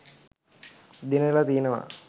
දිනල තියනව.